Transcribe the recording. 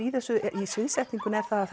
í þessu í sviðsetningunni er það að